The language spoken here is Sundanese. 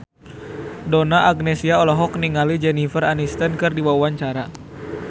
Donna Agnesia olohok ningali Jennifer Aniston keur diwawancara